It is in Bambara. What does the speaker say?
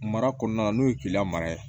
Mara kɔnɔna na n'o ye keleya mara ye